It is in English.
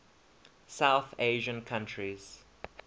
south asian countries